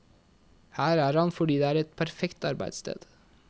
Her er han fordi det er et perfekt arbeidssted.